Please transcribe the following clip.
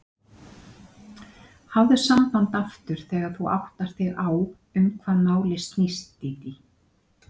Hafðu samband aftur þegar þú áttar þig á um hvað málið snýst, Dídí.